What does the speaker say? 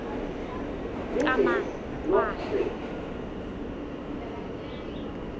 qhamakwane